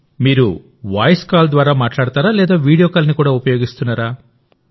మీరు voice call ద్వారా మాట్లాడతారా లేదా వీడియో కాల్ని కూడా ఉపయోగిస్తున్నారా